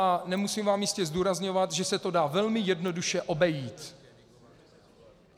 A nemusím vám jistě zdůrazňovat, že se to dá velmi jednoduše obejít.